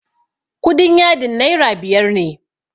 kudin yadin naira biyar ne